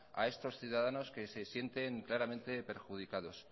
a estos ciudadanos que se sienten claramente perjudicados